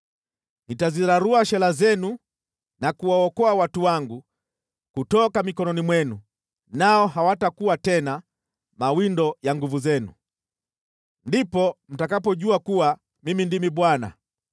Nitazirarua shela zenu na kuwaokoa watu wangu kutoka mikononi mwenu, nao hawatakuwa tena mawindo ya nguvu zenu. Ndipo mtakapojua kuwa Mimi ndimi Bwana .